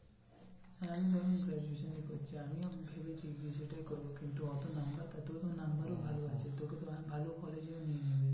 আমি, আমি graduation এ করছি। আমিও ভেবেছি যে B tech করবো কিন্তু অত number তো তোর তো number ই ভালো আছে তোকে তো ভালো college এও নিয়ে নেবে।